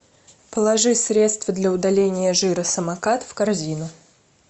положи средство для удаления жира самокат в корзину